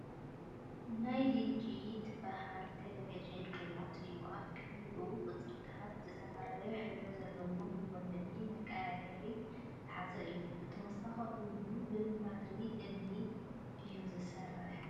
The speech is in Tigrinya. ናይ ልጂ ትበሃል ቴሌቪዠን ሪሞት እዩ፡፡ ኣብ ቅድሚቱ ቁፅርታት፣ ዝተፈላለዩ ሕብሪ ዘለዎም መወልዒን መቀያየሪን ዝሓዘ እዩ፡፡ ብተወሳኺ እውን ብባትሪ እምኒ እዩ ዝሰርሕ፡፡